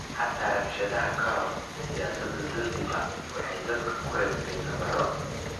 Xataa rabshadaha ka hor, siyaasadda Zanzibar waxay dadka ku reebtay nabarro.